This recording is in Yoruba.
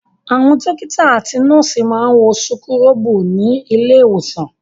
Àwọn dọ́kítá àti nọ́ọ́sì máa ń wọ súkúrọ́bù ní ilé-ìwòsàn.